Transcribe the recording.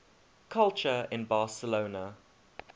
culture in barcelona